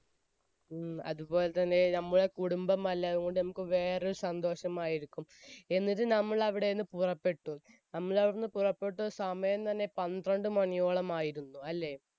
ഉം. അതുപോലെ തന്നെ നമ്മുടെ കുടുംബം അല്ലേ? അതുകൊണ്ട് നമുക്ക് വേറെ ഒരു സന്തോഷമായിരിക്കും, എന്നിട്ട് നമ്മൾ അവിടെ നിന്നും പുറപ്പെട്ടു. നമ്മൾ അവിടെ നിന്നും പുറപ്പെട്ട സമയം തന്നെ പന്ത്രണ്ട് മണിയോളമായിരുന്നു. അല്ലെ?